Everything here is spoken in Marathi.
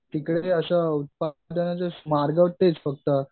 तिकडे असं फक्त